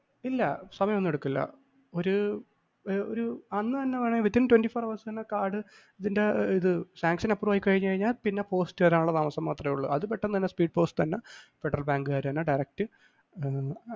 ഇല്ല സമയമൊന്നുമെടുക്കില്ല ഒരു ഒരു ഒരു അന്ന് തന്നെ വേണെൽ within twenty four hours തന്നെ കാർഡ് ഇതിൻ്റെ ഇത് sanctrion approve ആയിക്കഴിഞ്ഞു കഴിഞ്ഞാൽ പിന്നെ post വരാനുള്ള താമസം മാത്രേയുള്ളു. അത് പെട്ടെന്ന് തന്നെ speed post തന്നെ ഫെഡറൽ ബാങ്ക്കാരുതന്നെ direct ഏർ